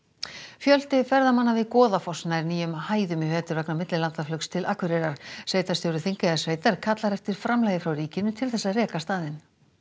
fjöldi ferðamanna við Goðafoss nær nýjum hæðum í vetur vegna millilandaflugs til Akureyrar sveitarstjóri Þingeyjarsveitar kallar eftir framlagi frá ríkinu til þess að reka staðinn